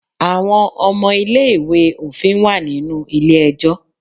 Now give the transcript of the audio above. Àwọn ọmọ ilé ìwé òfin wà nínú ilé ẹjọ́.